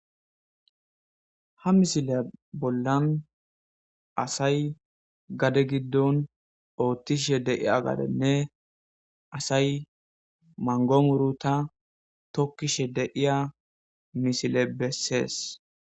ha misile bollan asay gade giddon oottishe de'iya gadenne asay mango muruta tokkishe de'iya misile bessees